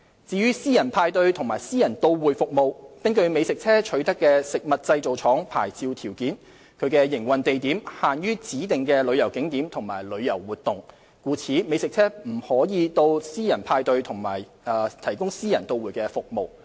至於私人派對及私人到會服務，根據美食車取得的食物製造廠牌照條件，其營運地點限於指定的旅遊景點和旅遊活動，故此美食車不可到私人派對營運及提供私人到會服務。